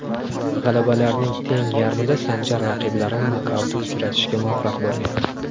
G‘alabalarining teng yarmida Sanjar raqiblarini nokautga uchratishga muvaffaq bo‘lgan.